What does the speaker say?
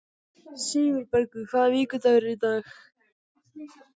Sigurbergur, hvaða vikudagur er í dag?